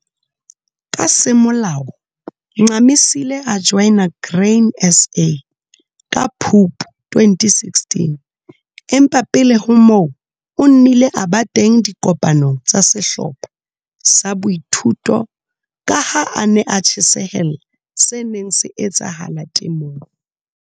Ka semolao Ncamisile a joina Grain SA ka Phupu 2016, empa pele ho moo, o nnile a ba teng dikopanong tsa sehlopha sa boithuto ka ha a ne a tjhesehella se neng se etsahala temong.